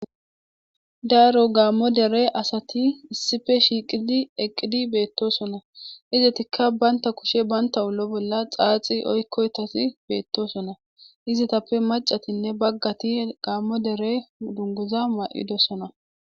Daro gaamo dere asati issipe shiqidi eqqidi beetosona izetikka banta kushe bantta ollo bolla xaaxi oykkidi beetoson exetappe maccatinne bagati gaamo dere dunguza ma'idosona.